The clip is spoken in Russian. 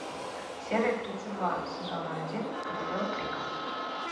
серия тридцать два сезона один королева крика